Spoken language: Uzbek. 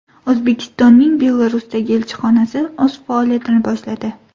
O‘zbekistonning Belarusdagi elchixonasi o‘z faoliyatini boshladi.